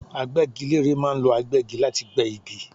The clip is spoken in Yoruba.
Agbẹ́gilére ma ń lo agbẹ́gi láti gbé igi